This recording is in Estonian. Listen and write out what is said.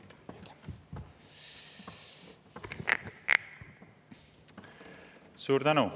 Suur tänu!